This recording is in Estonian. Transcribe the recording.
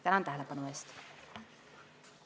Tänan tähelepanu eest!